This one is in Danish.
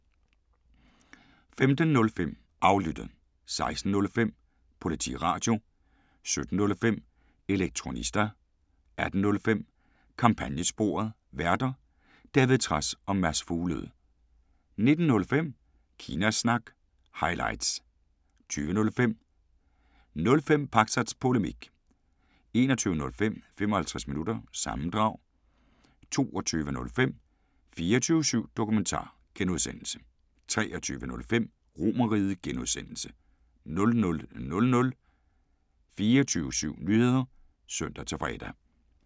15:05: Aflyttet 16:05: Politiradio 17:05: Elektronista 18:05: Kampagnesporet: Værter: David Trads og Mads Fuglede 19:05: Kina Snak – highlights 20:05: 05 Pakzads Polemik 21:05: 55 Minutter – sammendrag 22:05: 24syv Dokumentar (G) 23:05: RomerRiget (G) 00:00: 24syv Nyheder (søn-fre)